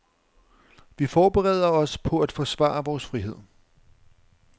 Vi forbereder os på at forsvare vores frihed.